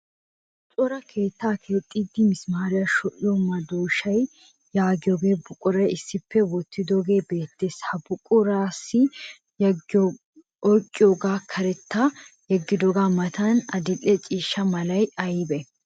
Cora keettaa keexxiiddi mismaariya shociyo madooshaa yaagiyo buquray issippe wottidooge beettes. Ha buquraassi oyiqqiyoosan karettaba yeggidoogaa matan adil'e ciishsha malay ayibee?